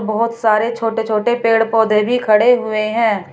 बहुत सारे छोटे छोटे पेड़ पौधे भी खड़े हुए हैं।